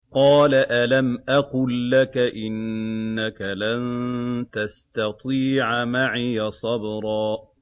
۞ قَالَ أَلَمْ أَقُل لَّكَ إِنَّكَ لَن تَسْتَطِيعَ مَعِيَ صَبْرًا